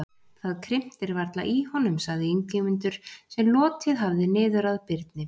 Það krimtir varla í honum, sagði Ingimundur, sem lotið hafði niður að Birni.